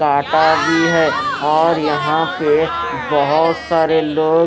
टाटा भी है और यहां पे बहोत सारे लोग--